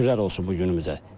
Şükürlər olsun bu günümüzə.